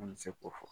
An bɛ se k'o fɔ